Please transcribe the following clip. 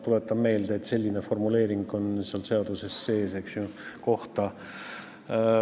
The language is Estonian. Tuletan meelde, et seaduses on sees selline formuleering.